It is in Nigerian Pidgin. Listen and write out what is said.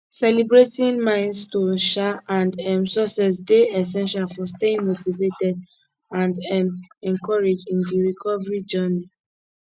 celebrating milestones um and um successes dey essential for staying motivated and um encouraged in di recovery journey